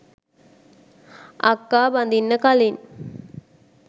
අක්කා බඳින්න කලින්